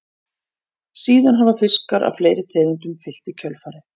Síðan hafa fiskar af fleiri tegundum fylgt í kjölfarið.